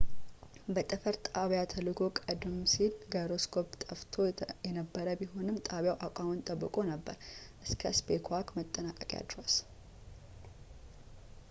በጠፈር ጣቢያ ተልእኮው ቀደም ሲል ጋይሮስኮፕ ጠፍቶ የነበረበት ቢሆንም ጣቢያው አቋሙን ጠብቆ ነበር እስከ ስፔስዋክ መጠናቀቂያ ድረስ